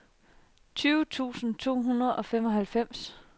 tyve tusind to hundrede og femoghalvfjerds